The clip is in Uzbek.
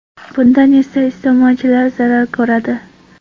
Bundan esa iste’molchilar zarar ko‘radi.